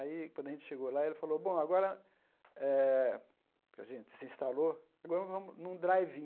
Aí, quando a gente chegou lá, ele falou, bom, agora eh que a gente se instalou, agora vamos num drive-in.